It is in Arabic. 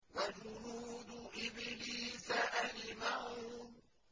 وَجُنُودُ إِبْلِيسَ أَجْمَعُونَ